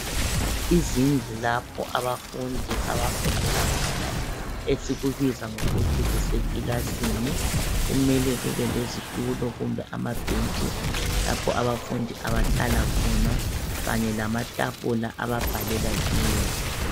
Izindlu lapho abafundi abafundela khona esikubiza ngokuthi kuseclasini. Kumele kubelezitulo kumbe amabhentshi lapho abafundi abahlala khona kanye lamatafula ababhalela kiwo.